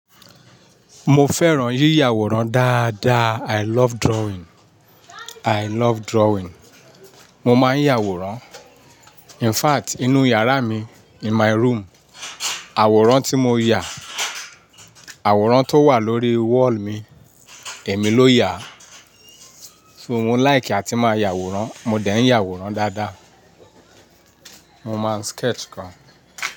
Mo fẹ́ràn yíyàwòrán dáadáa. I love drawing, I love drawing. Mo máa ń yàwòrán. In fact, inú yàrá mi, in my room, àwòrán tí mo yà, àwòrán tó wà lórí wall mi, èmi ló yà. So mo like àti máa yàwòrán. Mo dẹ̀ ń yàwòrán dáadáa. Mo máa ń sketch gan.